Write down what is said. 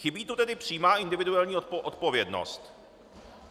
Chybí tu tedy přímá individuální odpovědnost.